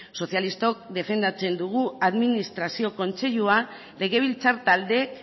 sozialistok defendatzen dugu administrazio kontseiluan legebiltzar taldeek